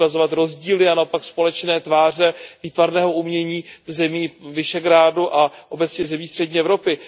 Bude ukazovat rozdíly a naopak společné tváře výtvarného umění zemí Visegrádské čtyřky a obecně zemí střední Evropy.